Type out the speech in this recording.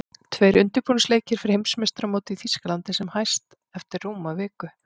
Tveir undirbúningsleikir fyrir Heimsmeistaramótið í Þýskalandi sem hest eftir rúma viku.